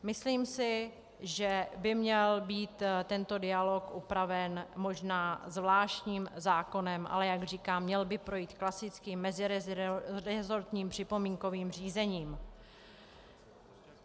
Myslím si, že by měl být tento dialog upraven možná zvláštním zákonem, ale jak říkám, měl by projít klasickým meziresortním připomínkovým řízením.